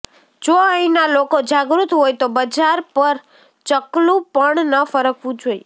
જો અહીંના લોકો જાગૃત હોય તો બજાર પર ચકલુ પણ ન ફરકવું જોઈએ